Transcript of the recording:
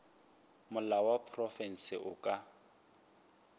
molao wa profense o ka